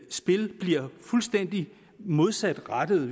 spil bliver fuldstændig modsatrettede